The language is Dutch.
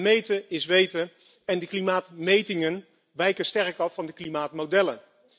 Meten is weten en de klimaatmetingen wijken sterk af van de klimaatmodellen.